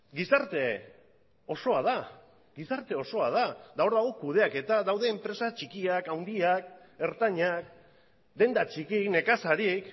gizarte osoa da eta hor dago kudeaketa daude enpresa txikiak handiak ertainak denda txikiak nekazari